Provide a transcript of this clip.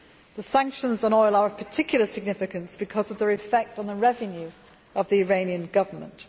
The sanctions on oil are of particular significance because of their effect on the revenue of the Iranian Government.